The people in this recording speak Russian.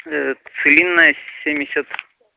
ээ целинная семьдесят